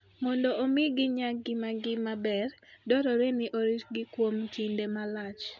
Mondo omi ginyag ngimagi maber, dwarore ni oritgi kuom kinde malach.